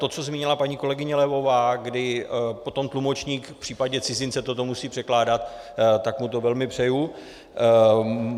To, co zmínila paní kolegyně Levová, kdy potom tlumočník v případě cizince toto musí překládat, tak mu to velmi přeji.